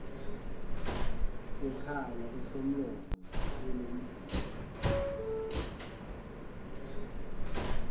sekhala esomlomo nesomgudu